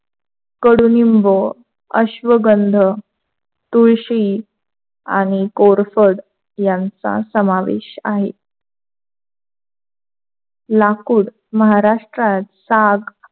कडुलिंब, अश्वगंधा, तुळशी आणि कोरफड यांचा समावेश आहे. लाकूड महाराष्ट्रात साग,